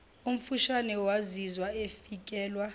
omfushane wazizwa efikelwa